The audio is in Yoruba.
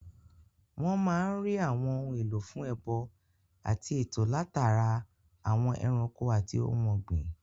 Wọ́n máa n rí àwọn ohun èlò fún ẹbọ àti ètò látara àwọn ẹranko àti ohun ògbìn